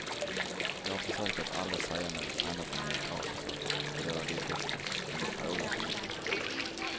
Jag har försökt att aldrig säga något annat än neutrala saker och det har jag lyckats med, men de frågar så mycket.